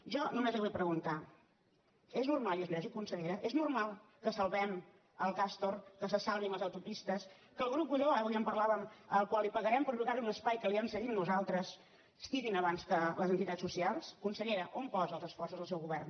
jo només li vull preguntar és normal i és lògic consellera és normal que salvem el castor que se salvin les autopistes que el grup godó avui en parlàvem al qual pagarem per llogarli un espai que li hem cedit nosaltres estigui abans que les entitats socials consellera on posa els esforços el seu govern